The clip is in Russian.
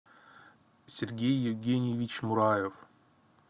сергей евгеньевич мураев